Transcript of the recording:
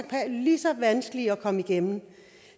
have lige så vanskeligt ved at komme igennem